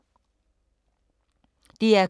DR K